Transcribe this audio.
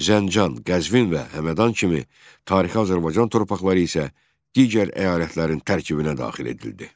Zəncan, Qəzvin və Həmədan kimi tarixi Azərbaycan torpaqları isə digər əyalətlərin tərkibinə daxil edildi.